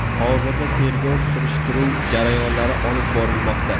Hozirda tergov surishtiruv jarayonlari olib borilmoqda.